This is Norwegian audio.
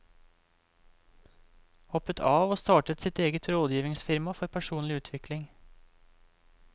Hoppet av og startet sitt eget rådgivningsfirma for personlig utvikling.